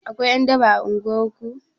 Akwai ƴan daba a unguwar ku?